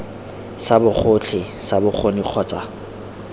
sa bogotlhe sa bokgoni kgotsa